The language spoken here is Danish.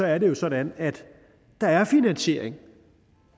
er det jo sådan at der er finansiering